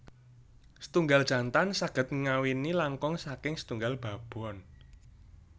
Setunggal jantan saged ngawini langkung saking setunggal babon